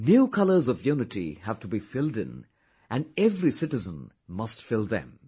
New colors of unity have to be filled in, and every citizen must fill them